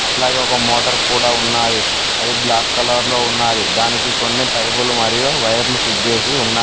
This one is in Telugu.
అట్లాగే ఒక మోటార్ కూడా ఉన్నది అది బ్లాక్ కలర్ లో ఉన్నది దానికి కొన్ని పైపులు మరియు వైర్లు ఫీడ్ చేసి ఉన్నారు.